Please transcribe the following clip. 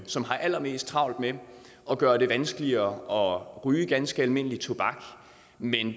som har allermest travlt med at gøre det vanskeligere at ryge ganske almindelig tobak men